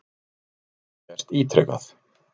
Þetta hafi gerst ítrekað.